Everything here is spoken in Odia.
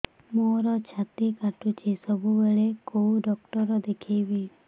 ମୋର ଛାତି କଟୁଛି ସବୁବେଳେ କୋଉ ଡକ୍ଟର ଦେଖେବି